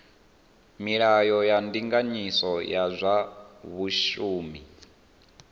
milayo ya ndinganyiso ya zwa vhashumi